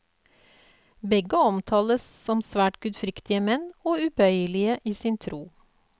Begge omtales som svært gudfryktige menn og ubøyelige i sin tro.